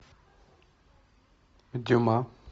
дюма